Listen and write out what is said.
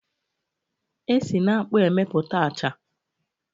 E si n'akpụ emeputa a acha.